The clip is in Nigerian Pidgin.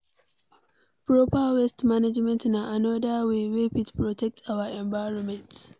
Proper waste management na anoda wey wey fit protect our environment